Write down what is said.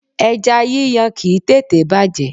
Ẹja yíyan kìí tètèé bàjẹ́.